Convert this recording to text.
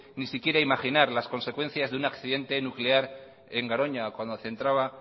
ni siquiera imaginar las consecuencias de un accidente nuclear en garoña o cuando centraba